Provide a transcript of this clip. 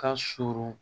Ka surun